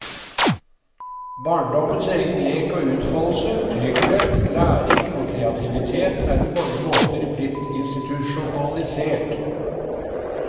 Barndommens egen lek og utfoldelse, trygghet, læring og kreativitet er på mange måter blitt institusjonalisert.